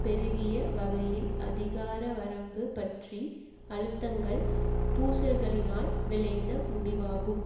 பெருகிய வகையில் அதிகாரவரம்பு பற்றி அழுத்தங்கள் பூசல்களினால் விளைந்த முடிவாகும்